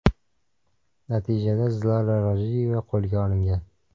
Natijada Zilola Rojiyeva qo‘lga olingan.